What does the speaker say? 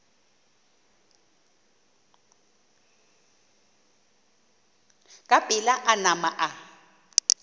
ka pela a nama a